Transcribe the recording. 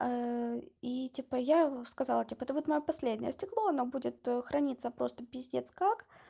и типа я сказала типа вот моё последнее стекло оно будет храниться просто пиздец как